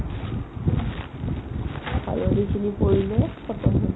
কালি এইখিনি পৰিলে khatam